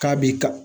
K'a b'i kan